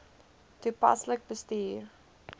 toepaslik bestuur